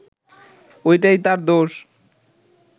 ওইটাই তার দোষ